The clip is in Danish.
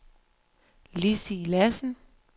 Lizzie Lassen